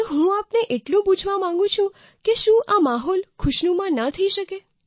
તો હું આપને એટલું પૂછવા માગું છું કે શું આ માહોલ ખુશનુમા ન થઈ શકે